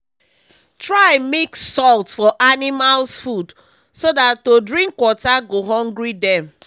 try mix salt for animals food so that to drink water go hungry dem